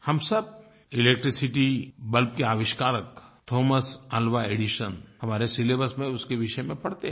हम सब electricity bulb के आविष्कारक थॉमस एलवा एडिसन हमारे सिलेबस में उसके विषय में पढ़ते हैं